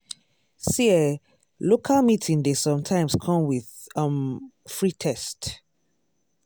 see eh local meeting dey sometimes come with um free test.